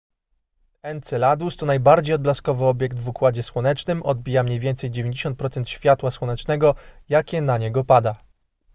enceladus to najbardziej odblaskowy obiekt w układzie słonecznym odbija mniej więcej 90 procent światła słonecznego jakie na niego pada